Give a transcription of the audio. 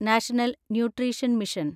national nutrition mission